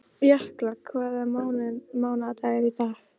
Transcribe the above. Jökla, hvaða mánaðardagur er í dag?